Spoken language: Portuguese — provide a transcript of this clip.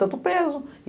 Tanto peso.